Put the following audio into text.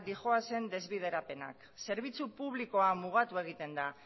dijoazen desbiderapenak zerbitzu publikoa mugatu egiten da